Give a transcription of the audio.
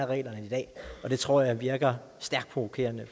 reglerne i dag og det tror jeg virker stærkt provokerende